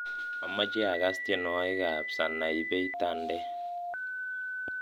amoche agas tienwogik ab sanaipei tande